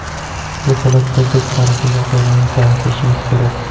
Bu holatda biz tarixiy voqealarni solishtirishimiz kerak.